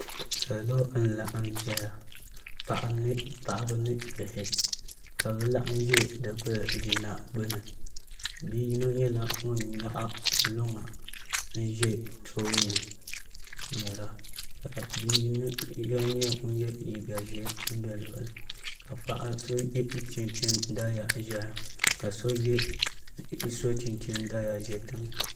Salo n laɣam ʒɛya paɣaba ni bihi ka bi laɣam ʒɛ dikili jina gbuni bia yino nyɛla ŋun nyaɣa luŋa ʒɛ tooni n ŋmɛra ka bia yino nyɛ ŋun yɛ liiga ʒiɛ bɛ luɣuli ka paɣa so so chinchin ʒɛya ka so yɛ chinchin daliya ʒɛ tiŋa